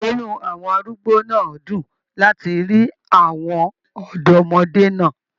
Inú àwọn arúgbó náà dún láti rí àwọn ọdọmọde náà.